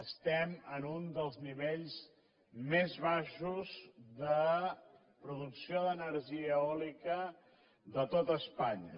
estem en un dels nivells més baixos de producció d’energia eòlica de tot espanya